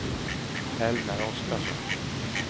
Helmer Oskarsson